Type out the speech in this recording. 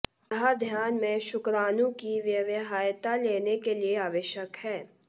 यह ध्यान में शुक्राणु की व्यवहार्यता लेने के लिए आवश्यक है